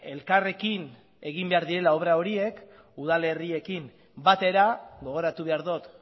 elkarrekin egin behar direla obra horiek udalerriekin batera gogoratu behar dut